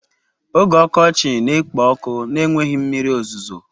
Oge ọkọchị na-ekpo ọkụ na-enweghị mmiri ozuzo.